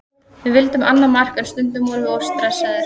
Við vildum annað mark en stundum vorum við of stressaðir.